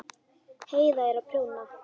Heiða er að prjóna.